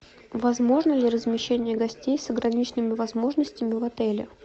возможно ли размещение гостей с ограниченными возможностями в отеле